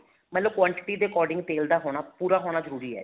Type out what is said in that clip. ਮਤਲਬ quantity ਦੇ according ਤੇਲ ਦਾ ਹੋਣਾ ਪੂਰਾ ਹੋਣਾ ਜਰੂਰੀ ਹੈ